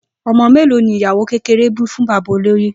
O̩mo̩ mélòó ni ìyàwó kékeré bí fún bàbá olóyè?